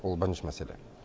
ол бірінші мәселе